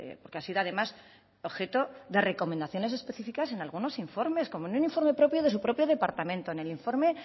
porque ha sido además objeto de recomendaciones específicas en algunos informes como en un informe propio de su propio departamento en el informe